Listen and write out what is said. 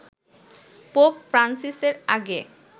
pope Francis এর আগে